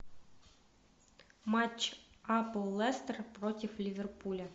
матч апл лестер против ливерпуля